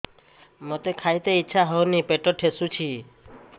ମୋତେ ଖାଇତେ ଇଚ୍ଛା ହଉନି ପେଟ ଠେସୁଛି